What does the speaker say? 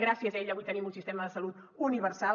gràcies a ell avui tenim un sistema de salut universal